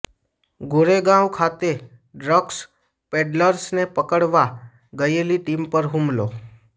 ગોરેગાંવ ખાતે ડ્રગ્સ પેડલર્સને પકડવા ગયેલી ટીમ પર હુમલો